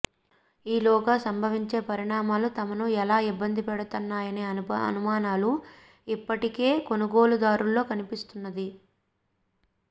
ఈ లోగా సంభవించే పరిణామాలు తమను ఎలా ఇబ్బంది పెట్టబోతున్నాయనే అనుమానాలు ఇప్పటికే కొనుగోలు దారుల్లో కన్పిస్తున్నది